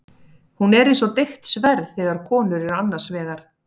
Hún er eins og deigt sverð þegar konur eru annars vegar.